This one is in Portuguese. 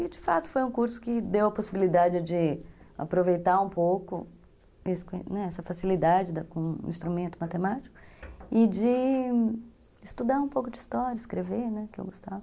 E, de fato, foi um curso que deu a possibilidade de aproveitar um pouco essa facilidade com o instrumento matemático e de estudar um pouco de história, escrever, né, que eu gostava.